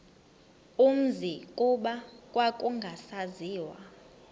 umzi kuba kwakungasaziwa